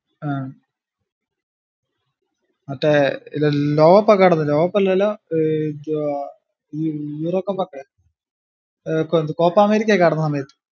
ആഹ് മറ്റേ കടന്ന് അല്ലല്ലാ ഏർ കോപ്പാ അമേരിക്ക കടന്നു വന്നേ